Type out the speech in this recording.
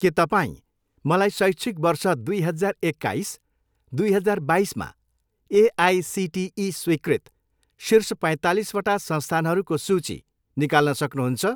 के तपाईँँ मलाई शैक्षिक वर्ष दुई हजार एक्काइस, दुई हजार बाइसमा एआइसिटिई स्वीकृत शीर्ष पैँतालिसवटा संस्थानहरूको सूची निकाल्न सक्नुहुन्छ?